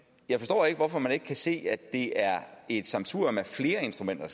jeg forstår ikke hvorfor man ikke kan se at det er et sammensurium af flere instrumenter